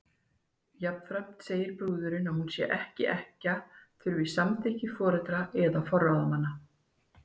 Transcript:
Jafnframt segir að brúðurin, sé hún ekki ekkja, þurfi samþykki foreldra eða forráðamanna.